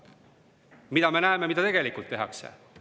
Mis me näeme, mida tegelikult tehakse?